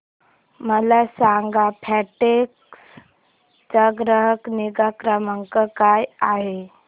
मला सांगा फेडेक्स चा ग्राहक निगा क्रमांक काय आहे